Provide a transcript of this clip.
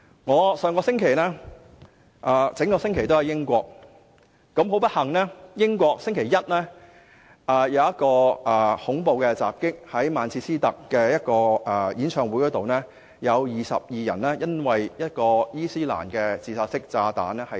我上星期一整個星期也身處英國，很不幸，上星期一英國曼徹斯特一個演唱會發生恐怖襲擊，有22人因伊斯蘭自殺式炸彈而喪生。